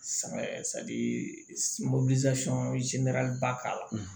ba k'a la